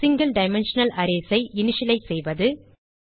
single dimensional arrays ஐ initialise செய்வது